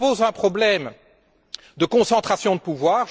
Il nous pose un problème de concentration de pouvoir.